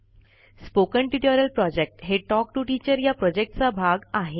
spoken tutorial project हे talk to teacher या प्रॉजेक्टचा भाग आहे